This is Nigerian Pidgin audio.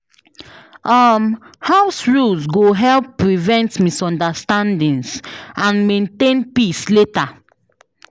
um House rules go help prevent misunderstandings and maintain peace later.